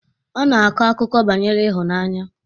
Ọ na-akọ akụkọ banyere ịhụnanya